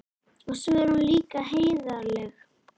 Og svo er hún líka heiðarleg.